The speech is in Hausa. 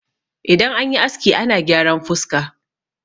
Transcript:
idan an yi aski ana gyaran fuska